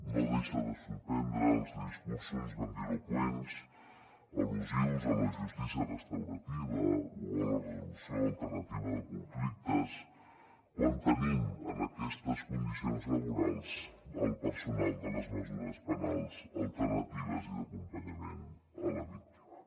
no deixa de sorprendre els discursos grandiloqüents al·lusius a la justícia restaurativa o a la resolució alternativa de conflictes quan tenim en aquestes condicions laborals el personal de les mesures penals alternatives i d’acompanyament a la víctima